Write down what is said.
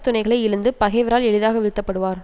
துணைகளை இழந்து பகைவரால் எளிதாக வீழ்த்தப்படுவார்